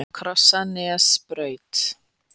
Krossanesbraut